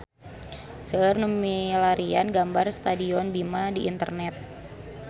Seueur nu milarian gambar Stadion Bima di internet